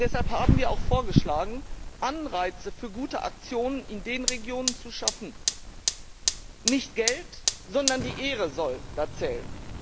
Deshalb haben wir auch vorgeschlagen, Anreize für gute Aktionen in den Regionen zu schaffen. Nicht Geld, sondern die Ehre soll da zählen.